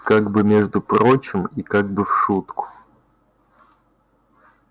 как бы между прочим и как бы в шутку